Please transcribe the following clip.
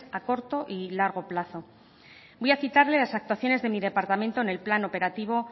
a corto y largo plazo voy a citarle las actuaciones de mi departamento en el plan operativo